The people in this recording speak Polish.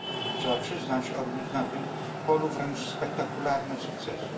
Trzeba przyznać odniósł na tym polu wręcz spektakularne sukcesy.